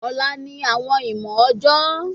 Ọla ni awọn ìmọ ọjọ